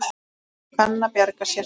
Og kann að bjarga sér.